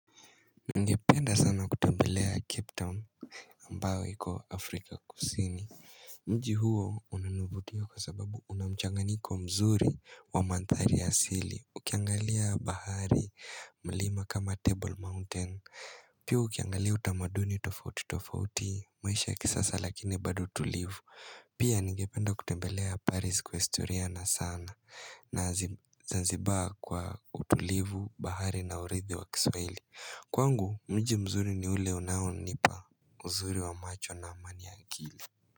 Ningependa sana kutembelea Cape Town ambayo iko Afrika kusini Mji huo unanivutia kwa sababu unamchanganyiko mzuri wa mandhari ya asili Ukiangalia bahari mlima kama Table Mountain Pia ukiangalia utamaduni tofauti tofauti maisha ya kisasa lakini bado tulivu Pia ningependa kutembelea Paris kwa historia na sana na zanzibar kwa utulivu bahari na urithi wa kiswahili Kwangu mji mzuri ni ule unaonipa uzuri wa macho na amani ya akili.